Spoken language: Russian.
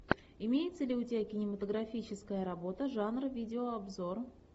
имеется ли у тебя кинематографическая работа жанра видео обзор